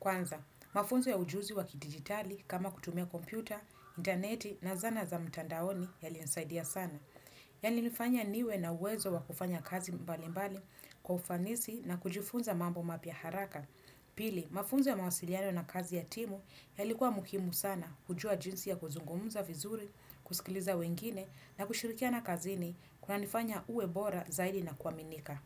Kwanza, mafunzo ya ujuzi wa kidigitali kama kutumia kompyuta, interneti na zana za mtandaoni yalinisaidia sana. Yalinifanya niwe na uwezo wa kufanya kazi mbali mbali kwa ufanisi na kujifunza mambo mapya haraka. Pili, mafunzo ya mawasiliano na kazi ya timu yalikuwa muhimu sana kujua jinsi ya kuzungumza vizuri, kusikiliza wengine na kushirikiana kazini kunanifanya uwe bora zaidi na kuaminika.